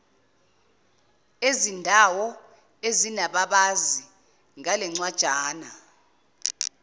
ezindawo ezinababazi ngalencwajana